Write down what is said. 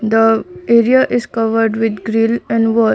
the area is covered with grill and wall.